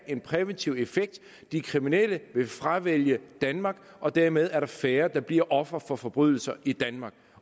en præventiv effekt de kriminelle vil fravælge danmark og dermed er der færre der bliver ofre for forbrydelser i danmark